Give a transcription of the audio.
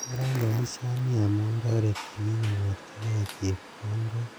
Kararan boisioni amun toreti bike konyorjigee chepkondok